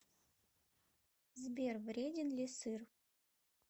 сбер вреден ли сыр